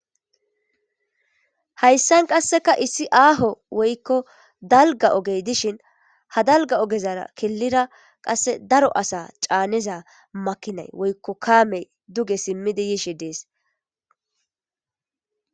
hayssan qasseka issi aaho woykko dalga ogey dishin ha dalga ogezara killira qasse daro asa caaneza makinay woykko kaamey duge simmidi yishe dees